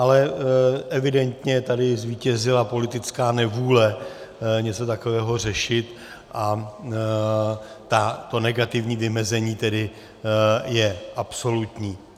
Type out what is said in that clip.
Ale evidentně tady zvítězila politická nevůle něco takového řešit a to negativní vymezení tedy je absolutní.